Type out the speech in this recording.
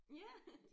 Ja